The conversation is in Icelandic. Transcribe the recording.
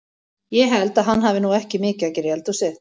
Ég held að hann hafi nú ekki mikið að gera í eldhúsið!